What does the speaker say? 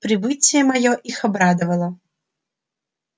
прибытие моё их обрадовало